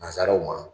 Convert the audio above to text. Nanzaraw ma